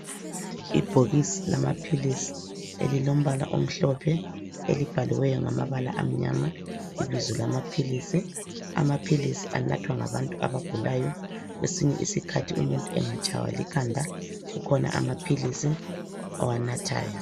Ibhokisi lamaphilisi elilombala omhlophe elibhaliweyo ngamabala amnyama, ibizo lamaphilisi, amaphilisi anathwa ngabantu abagulayo kwesinye isikhathi umuntu angatshaywa likhanda kukhona amaphilisi awanathayo.